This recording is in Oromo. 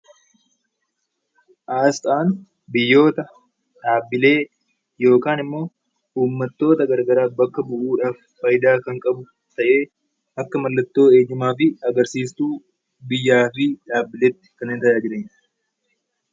Asxaan biyyoota, dhaabbilee yookaan immoo uummattoota garaagaraa bakka bu'uudhaan fayidaa kan qabu ta'ee akka waraqaa eenyummaatti biyyaa fi dhaabbilee kan bakka bu'udha.